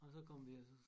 Og så kom vi her